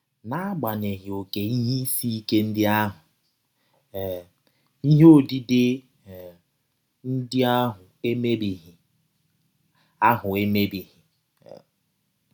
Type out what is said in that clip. N’agbanyeghị ọké ihe isi ike ndị ahụ, um ihe ọdide um ndị ahụ emebighị. ahụ emebighị. um